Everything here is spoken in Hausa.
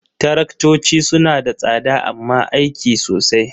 Taraktoci suna da tsada amma aiki sosai.